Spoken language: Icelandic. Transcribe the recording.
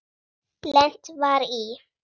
Lent var í